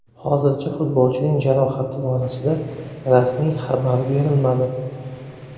Hozircha futbolchining jarohati borasida rasmiy xabar berilmadi.